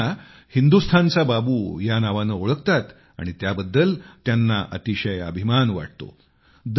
लोक त्यांना हिंदुस्थानचा बाबू या नावाने ओळखतात आणि त्याबद्दल त्यांना अतिशय अभिमान वाटतो